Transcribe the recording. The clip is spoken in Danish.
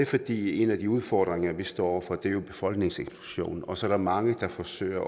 fordi en af de udfordringer vi står over for er en befolkningseksplosion og så er der mange der forsøger